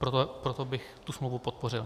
Proto bych tu smlouvu podpořil.